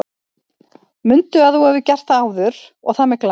Mundu að þú hefur gert það áður og það með glans!